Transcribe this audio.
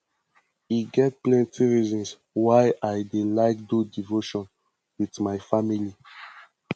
e get plenty reasons why i dey like do devotion wit my family